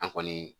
An kɔni